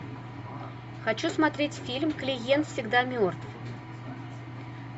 хочу смотреть фильм клиент всегда мертв